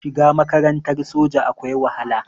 Shiga makarantar soja akwai wahala